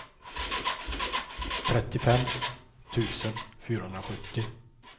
trettiofem tusen fyrahundrasjuttio